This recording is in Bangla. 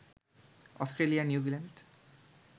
Australia, New Zealand